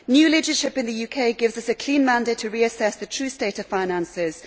New leadership in the UK gives us a clear mandate to reassess the true state of finances.